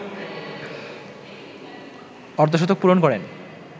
অর্ধশতক পূরণ করেন